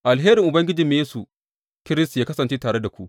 Alherin Ubangijinmu Yesu Kiristi yă kasance tare da ku.